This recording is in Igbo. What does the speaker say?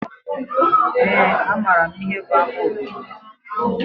Eé, amaara m ihe bụ ama obodo.